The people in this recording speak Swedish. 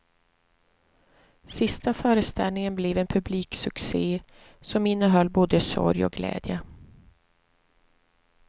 Sista föreställningen blev en publiksucce som innehöll både sorg och glädje.